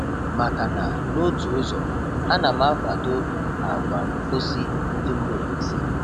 Makana n' otu ụzọ, ana m akwado àgwà mposi ndi mba ofesi